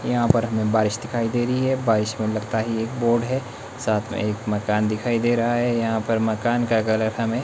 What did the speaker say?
यहां पर हमें बारिश दिखाई दे रही है। बारिश में लगता ही एक बोर्ड है। साथ में एक मकान दिखाई दे रहा है। यहां पर मकान का कलर हमें--